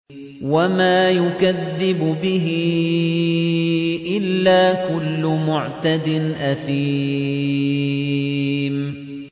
وَمَا يُكَذِّبُ بِهِ إِلَّا كُلُّ مُعْتَدٍ أَثِيمٍ